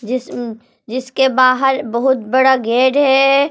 जिसमें जिसके बाहर बहुत बड़ा गेड गेट है।